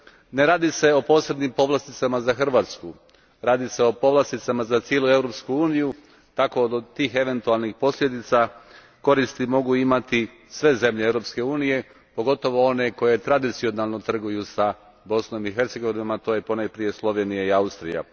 Ne radi se o posebnim povlasticama za Hrvatsku, radi se o povlasticama za cijelu Europsku uniju, tako od tih eventualnih povlastica koristi mogu imati sve zemlje Europske unije, pogotovo one koje tradicionalno trguju s Bosnom i Hercegovinom, a to su ponajprije Slovenija i Austrija.